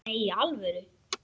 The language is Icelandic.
Nei, í alvöru.